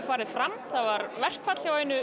farið fram það var verkafall hjá einu